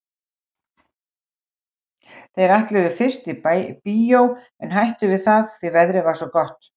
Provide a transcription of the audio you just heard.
Þau ætluðu fyrst í bíó en hættu við það því að veðrið var svo gott.